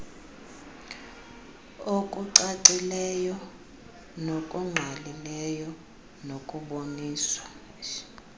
okucacileyo nokungqalileyo nokuboniswa